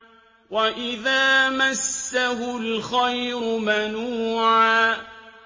وَإِذَا مَسَّهُ الْخَيْرُ مَنُوعًا